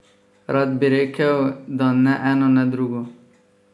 Rad bi rekel, da ne eno ne drugo!